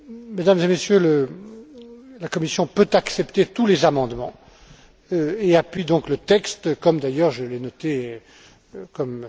Mesdames et Messieurs, la Commission peut accepter tous les amendements et appuie donc le texte, comme d'ailleurs je l'ai noté M.